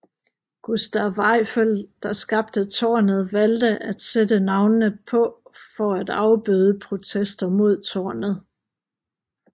Gustave Eiffel der skabte tårnet valgte at sættte navnene på for at afbøde protester mod tårnet